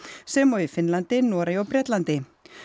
sem og í Finnlandi Noregi og Bretlandi